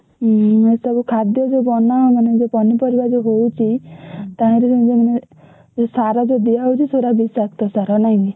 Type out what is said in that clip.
ହୁଁ ଏସବୁ ଖାଦ୍ୟ ଯୋଉ ବନାଉ ମାନେ ଯୋଉ ପନିପରିବା ଯୋଉ ହଉଛି btreath ତାହେରେ ସେ ସାର ଯୋଉ ଦିଆହଉଛି ସେଗୁଡା ବିଷାକ୍ତ ସାର ନାଇଁକି?